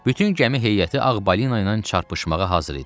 Bütün gəmi heyəti Ağ Balina ilə çarpışmağa hazır idi.